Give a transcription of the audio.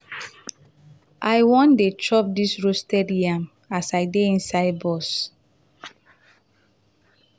i wan dey chop dis roasted yam as i dey inside bus.